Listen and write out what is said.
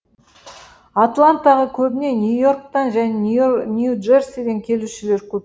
атлантаға көбіне нью йорктан және нью джерсиден келушілер көп